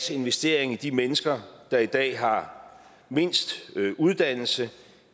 investering i de mennesker der i dag har mindst uddannelse